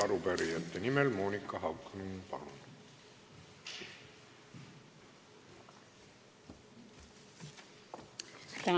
Arupärijate nimel Monika Haukanõmm, palun!